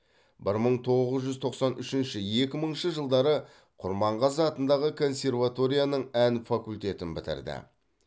бір мың тоғыз жүз тоқсан үшінші екі мыңыншы жылдары құрманғазы атындағы консерваторияның ән факультетін бітірді